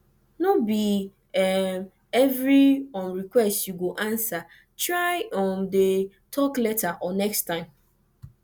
no bi evri um request yu go ansa try um dey tok later or next time